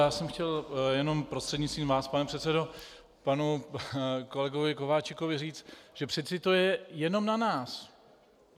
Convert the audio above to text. Já jsem chtěl jenom prostřednictvím vás, pane předsedo, panu kolegovi Kováčikovi říct, že přeci to je jenom na nás.